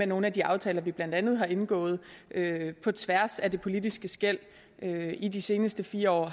nogle af de aftaler vi blandt andet har indgået på tværs af de politiske skel i de sidste fire år